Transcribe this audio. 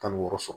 Tan ni wɔɔrɔ sɔrɔ